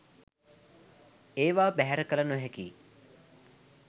ඒවා බැහැර කළ නොහැකියි.